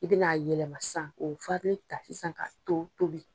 I ben'a yɛlɛma sisan k'o farini ta ka to tobi